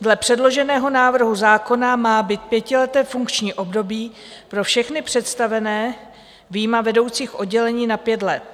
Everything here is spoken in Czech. Dle předloženého návrhu zákona má být pětileté funkční období pro všechny představené vyjma vedoucích oddělení na pět let.